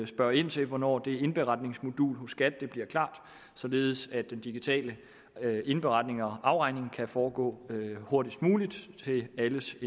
spørge ind til hvornår det indberetningsmodul hos skat bliver klar således at den digitale indberetning og afregning i kan foregå hurtigst muligt endelig